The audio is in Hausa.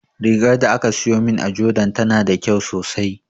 Rigar da aka siyo min a jordan tana da kyau sosai